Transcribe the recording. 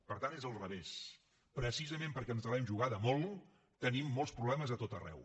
per tant és al revés precisament perquè ens l’hem jugada molt tenim molts problemes a tot arreu